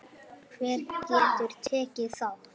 Hver getur tekið þátt?